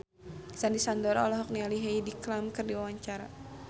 Sandy Sandoro olohok ningali Heidi Klum keur diwawancara